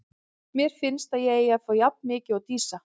Mér finnst að ég eigi að fá jafn mikið og Dísa.